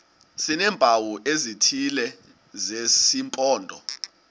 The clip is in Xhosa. sineempawu ezithile zesimpondo